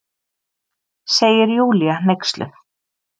segir Júlía hneyksluð.